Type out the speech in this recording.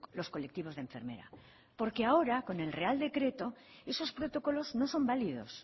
los colectivos de enfermera porque ahora con el real decreto esos protocolos no son válidos